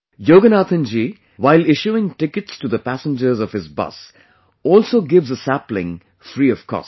Yoganathanjiwhile issuing tickets to the passengers of his busalso gives a sapling free of cost